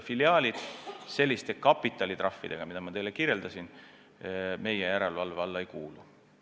Filiaalid selliste kapitalitrahvidega, millest ma teile rääkisin, meie kompetentsi ei kuulu.